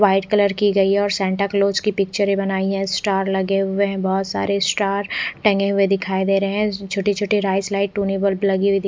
white colour की गयी है और सैंटा क्लॉस की पिक्चर बनायीं गयी है स्टार लगे हुए है बहुतसारे स्टार टंगे हुए दिखाई दे रहे है छोटी छोटी लाइट्स बल्ब लगी हुयी--